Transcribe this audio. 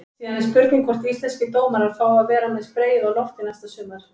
Síðan er spurning hvort íslenskir dómarar fái að vera með spreyið á lofti næsta sumar?